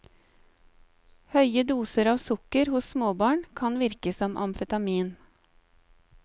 Høye doser av sukker hos småbarn kan virke som amfetamin.